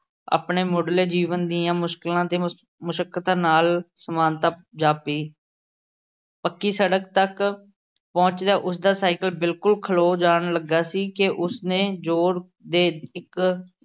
ਆਪਣੇ ਮੁੱਢਲੇ ਜੀਵਨ ਦੀਆਂ ਮੁਸ਼ਕਿਲਾਂ ਤੇ ਮੁਸ਼ੱਕਤਾਂ ਨਾਲ਼ ਸਮਾਨਤਾ ਜਾਪੀ। ਪੱਕੀ ਸੜਕ ਤੱਕ ਪਹੁੰਚਦਿਆਂ ਉਸ ਦਾ ਸਾਈਕਲ ਬਿਲਕੁੱਲ ਖਲੋ ਜਾਣ ਲੱਗਾ ਸੀ ਕਿ ਉਸ ਨੇ ਜ਼ੋਰ ਦੇ ਇੱਕ